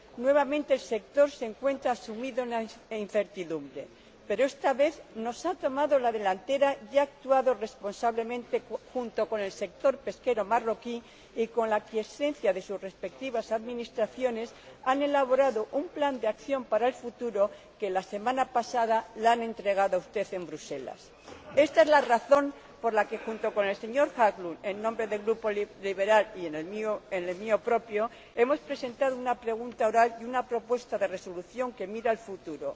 Nuevamente el sector se encuentra sumido en la incertidumbre, pero, esta vez, nos ha tomado la delantera y ha actuado responsablemente junto con el sector pesquero marroquí y, con la aquiescencia de sus respectivas administraciones, ambos han elaborado un plan de acción para el futuro, que, la semana pasada, le entregaron a usted en Bruselas. Esta es la razón por la que el señor Haglund, en nombre del Grupo ALDE, y yo, en nombre de mi Grupo, hemos presentado una pregunta oral y una propuesta de resolución que miran al futuro,